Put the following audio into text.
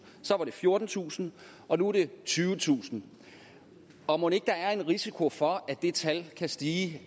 så var det fjortentusind og nu er det tyvetusind og mon ikke der er en risiko for at det tal kan stige